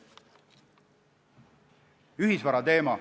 Ühisvara teema.